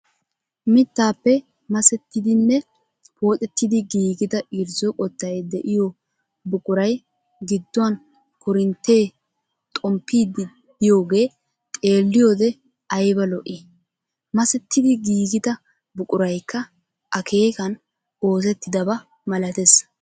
Mittaappe masettidinne pooxettidi giigida irzzo qottay de'iyoo buquray gidduwaan korinttee xomppiidi de'iyoogee xeelliyoodee ayba lo"ii! masettidi giigida buquraykka akeekan oosettaba malatees.